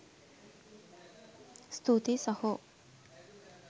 ස්තුතියි සහෝ..